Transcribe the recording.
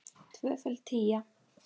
Tvöföld tía.